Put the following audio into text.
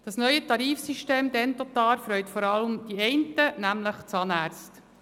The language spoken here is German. Das neue Tarifsystem Dentotar freut vor allem die einen, nämlich die Zahnärzte.